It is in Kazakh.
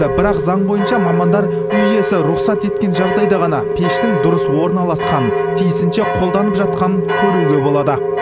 бірақ заң бойынша мамандар үй иесі рұқсат еткен жағдайда ғана пештің дұрыс орналасқанын тиісінше қолданып жатқанын көруге болады